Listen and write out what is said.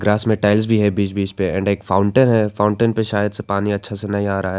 असमे tiles भी है बीच बीच पे एंड एक फाउंटेन है फाउंटेन पे शायद से पानी अच्छा से नहीं आ रहा है।